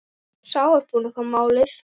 Sá var búinn að fá málið!